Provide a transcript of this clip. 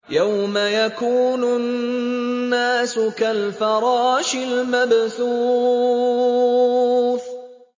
يَوْمَ يَكُونُ النَّاسُ كَالْفَرَاشِ الْمَبْثُوثِ